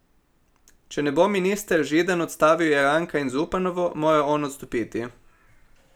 Če ne bo minister Židan odstavil Jeranka in Zupanovo, mora on odstopiti.